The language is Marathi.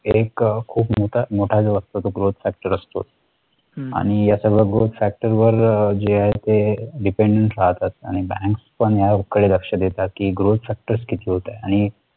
एक खूप मोठा मोठा असतो. growth factor असतो. आणि या सगळ्या growth factor वर जे आहे ते depend राहतात आणि banks पण याकडे लक्ष कि growth factors किती होत आहे